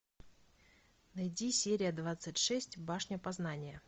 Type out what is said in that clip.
найди серия двадцать шесть башня познания